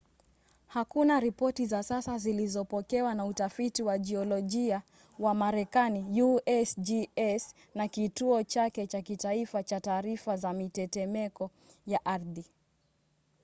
hakuna ripoti za sasa zilizopokewa na utafiti wa jiolojia wa marekani usgs na kituo chake cha kitaifa cha taarifa za mitetemeko ya ardhi